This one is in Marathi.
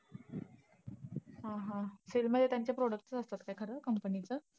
हा हा. sell मध्ये त्यांचे product असतात का खर comapny चं?